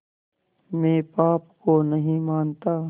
मैं पाप को नहीं मानता